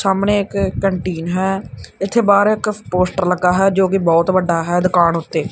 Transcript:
ਸਾਹਮਣੇ ਇੱਕ ਕੈਂਟੀਨ ਹੈ ਇੱਥੇ ਬਾਹਰ ਇੱਕ ਪੋਸਟਰ ਲੱਗਾ ਹੈ ਜੋਕਿ ਬਹੁਤ ਵੱਡਾ ਹੈ ਦੁਕਾਨ ਓੱਤੇ।